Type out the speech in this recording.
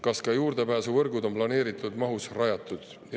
Kas ka juurdepääsuvõrgud on planeeritud mahus rajatud?